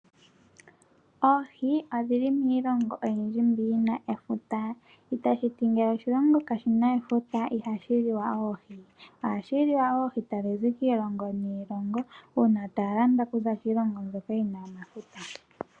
Oohi odhili miilongo oyindji mbi yina efuta. Itashi ti ngele oshilongo kashina efuta ihashi liwa, ohashi liwa oohi tadhi zi kiilongo niilongo, uuna taya landa okuza kiilongo mbyoka yina omafuta.